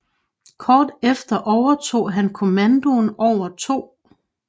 Kort efter overtog han kommandoen over 2